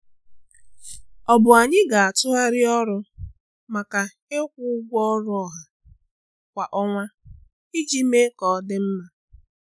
Ọ̀ bụ na anyị gị tụgharị ọrụ maka ịkwụ ụgwọ ọrụ ọha kwa ọnwa iji mee ka ọ dị mma?